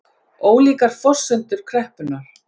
Ólíkar forsendur kreppunnar